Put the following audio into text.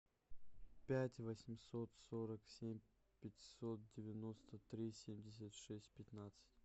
пять восемьсот сорок семь пятьсот девяносто три семьдесят шесть пятнадцать